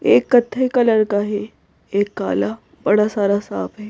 एक कथे कलर का है एक काला बड़ा सारा साफ है।